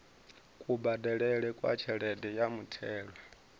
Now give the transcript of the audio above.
kubadelele kwa tshelede ya muthelo